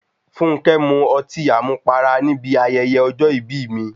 Fúnnkẹ́ mu ọtí àmupara ní bi ayẹyẹ ọjọ́ ìbí mi.